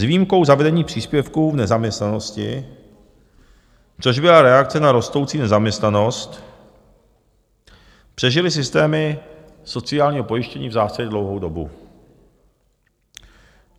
S výjimkou zavedení příspěvku v nezaměstnanosti, což byla reakce na rostoucí nezaměstnanost, přežily systémy sociálního pojištění v zásadě dlouhou dobu.